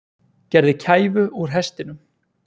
Gerði kæfu úr hestinum